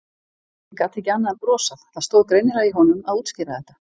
Ég gat ekki annað en brosað, það stóð greinilega í honum að útskýra þetta.